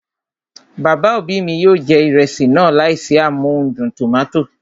Bàbá òbí mi yóò jẹ ìrẹsì náà láìsí amóhudùn tòmátò